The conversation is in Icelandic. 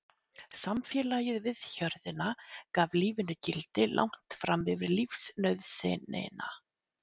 Samfélagið við hjörðina gaf lífinu gildi langt fram yfir lífsnauðsynina.